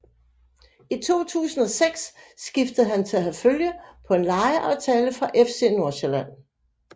I 2006 skiftede han til Herfølge på en lejeaftale fra FC Nordsjælland